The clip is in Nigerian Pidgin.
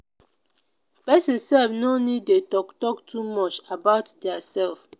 person sef no need de talk talk too much about their self